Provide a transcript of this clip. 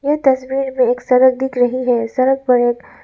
ये तस्वीर में एक सड़क दिख रही है सड़क पर एक --